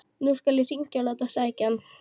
Nú skal ég hringja og láta sækja hann.